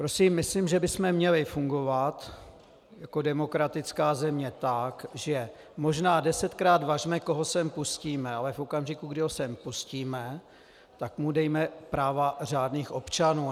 Prosím, myslím, že bychom měli fungovat jako demokratická země tak, že možná desetkrát važme, koho sem pustíme, ale v okamžiku, kdy ho sem pustíme, tak mu dejme práva řádných občanů.